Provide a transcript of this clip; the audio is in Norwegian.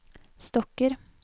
stokker